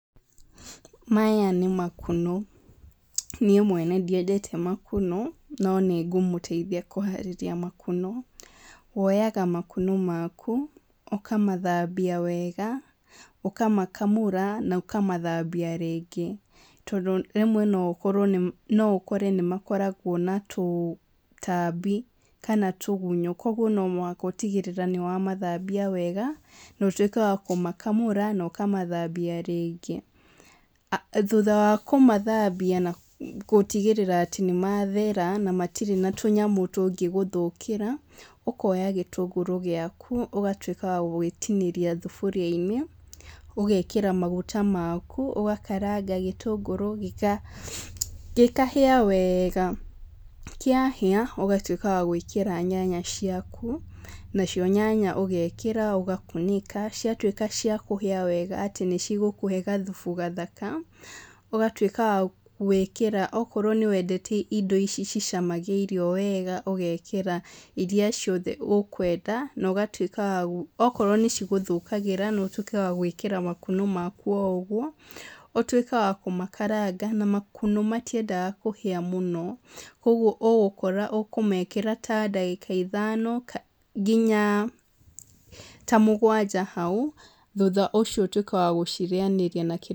Maya nĩ makunũ no niĩ mwene ndĩendete makunũ no nĩ ngũmũteithia kũharĩrĩria makunũ, woyaga makunũ maku ũkamathambia wega ũkamakamũra na ũkamathambia rĩngĩ, tondũ rĩmwe no ũkore nĩ makoragwo na tũtambi kana tũgunyo kwoguo no nginya ũtigĩrĩre nĩ wa mathambia wega na ũgatuĩka wa kũmakamũra wega na ũkamathambia rĩngĩ, thutha wa kũmathambia na gũtigĩrĩra atĩ nĩ mathera na gũtirĩ na tũnyamũ tũngĩgũthũkĩra, ũkoya gĩtũngũrũ gĩaku ũgatuĩka wa gũgĩtinĩria thaburia-inĩ, ũgakera maguta maku ũgakaranga gĩtũngũrũ gĩkahĩa wega, kĩhĩa ũgatuĩka wa gwĩkĩra nyanya ciaku na cio nyanya ũgekĩra ũgakunĩka, ciatuĩka cia kũhĩa wega atĩ nĩcigũkũhe gathubu gathaka ũgatuĩka gwĩkĩra o korwo nĩ wendete indo ici cicamagia irio wega ũgekĩra iria ciothe ũkwenda na ũgatuĩka wa gũ Okorwo nĩ ci gũthũkagĩra no ũtuĩke wa gwĩkĩra makunũ maku oro ũguo ũtuĩke wa kũmakaranga na makunũ matiendaga kũhĩa mũno, ũguo ũgũkora ũkũmekĩra ta ndagĩka ithano nginya ta mũgwanja hau thutha ũcio ũtuĩke wa kũrĩanĩria.